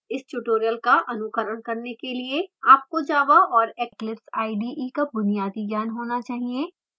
इस tutorial का अनुकरण करने के लिए आपको java और eclipse ide का बुनियादी ज्ञान होना चहिए